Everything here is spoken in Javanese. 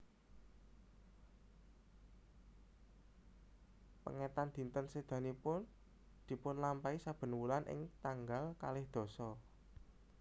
Pengetan dinten sedanipun dipulampahi saben wulan ing tanggal kalih dasa